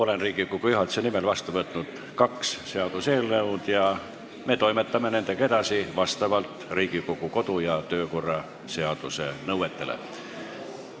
Olen Riigikogu juhatuse nimel vastu võtnud kaks seaduseelnõu ja me toimetame nendega edasi vastavalt Riigikogu kodu- ja töökorra seaduse nõuetele.